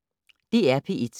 DR P1